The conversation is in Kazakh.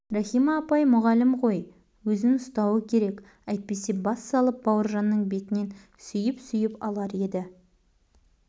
рахима апай мұғалім ғой өзін ұстауы керек әйтпесе бас салып бауыржанның бетінен сүйіп-сүйіп алар еді